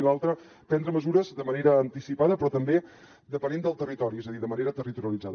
i l’altra prendre mesures de manera anticipada però també depenent del territori és a dir de manera territorialitzada